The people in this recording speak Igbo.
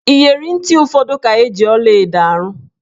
Iyeri ntị ụfọdụ ka eji ọlaedo arụ.